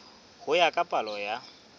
ho ya ka palo ya